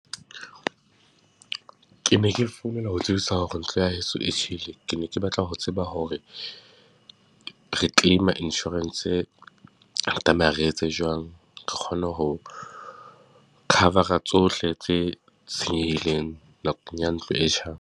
Ke ne ke founela ho tsebisa hore ntlo ya heso e tjhele. Ke ne ke batla ho tseba hore re claim-a insurance-se re tlameha re etse jwang? Re kgone ho cover-a tsohle tse senyehile nakong ya ntlo e tjhang.